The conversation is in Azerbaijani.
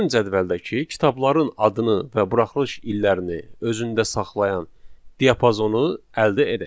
Gəlin cədvəldəki kitabların adını və buraxılış illərini özündə saxlayan diapazonu əldə edək.